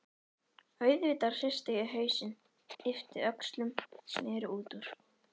auðvitað hristi ég hausinn, yppti öxlum, sneri út úr.